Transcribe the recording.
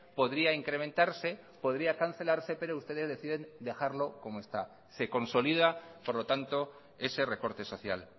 podría incrementarse podría cancelarse pero ustedes deciden dejarlo como está se consolida por lo tanto ese recorte social